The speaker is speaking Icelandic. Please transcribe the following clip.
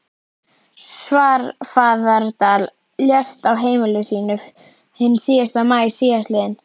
Svarfaðardal, lést á heimili sínu hinn fyrsta maí síðastliðinn.